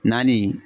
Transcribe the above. Naani